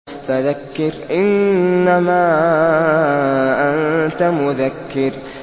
فَذَكِّرْ إِنَّمَا أَنتَ مُذَكِّرٌ